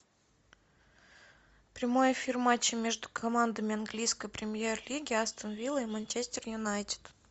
прямой эфир матча между командами английской премьер лиги астон вилла и манчестер юнайтед